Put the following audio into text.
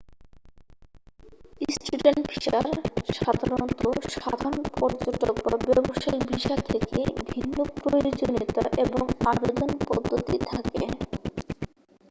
student ভিসার সাধারণত সাধারণ পর্যটক বা ব্যবসায়িক ভিসা থেকে ভিন্নপ্রয়োজনীয়তা এবং আবেদন পদ্ধতি থাকে